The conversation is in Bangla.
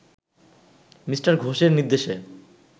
মি ঘোষের নির্দেশে